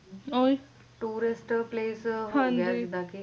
Tourist place